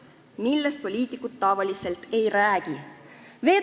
Millest poliitikud tavaliselt ei räägi?